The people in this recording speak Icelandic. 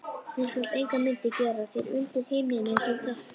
Þú skalt engar myndir gera þér undir himninum, segir drottinn.